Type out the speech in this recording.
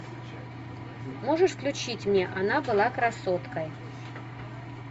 можешь включить мне она была красоткой